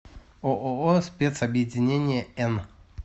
ооо спецобъединение н